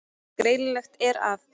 Greinilegt er að